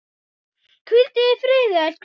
Hvíldu í friði, elsku Keli.